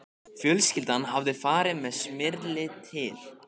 Fjölskyldan hafði farið með Smyrli til